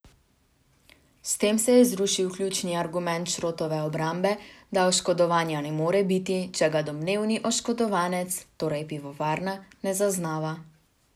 S tem je zrušil ključni argument Šrotove obrambe, da oškodovanja ne more biti, če ga domnevni oškodovanec, torej pivovarna, ne zaznava.